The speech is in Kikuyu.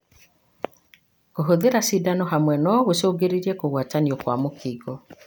Kũhũthĩra cindano hamwe no gũcungĩrĩrie kũgwatanio kwa mũkingo.